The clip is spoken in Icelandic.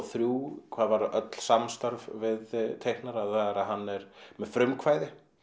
þrjár hvað varðar öll við teiknara að hann er með frumkvæði